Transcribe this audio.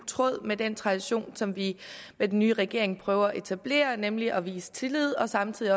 tråd med den tradition som vi med den nye regering prøver at etablere nemlig at vise tillid og samtidig